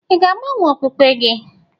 Ị ga-agbanwe okpukpe gị?